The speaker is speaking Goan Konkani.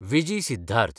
वीजी सिद्धार्थ